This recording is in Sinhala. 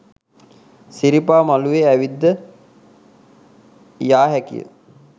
සිරිපා මළුවේ ඇවිද යා හැකිය